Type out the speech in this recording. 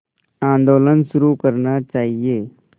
आंदोलन शुरू करना चाहिए